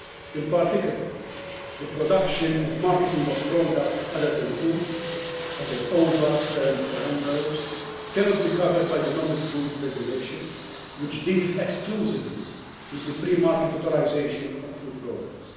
In particular, the production and marketing of products other than food such as ova, sperm or embryos cannot be covered by the Novel Food Regulation, which deals exclusively with the pre market authorisation of food products.